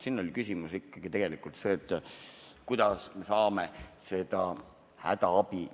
Siin oli küsimus ikkagi tegelikult selles, kuidas me saame seda hädaabi ...